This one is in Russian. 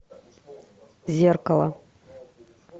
зеркало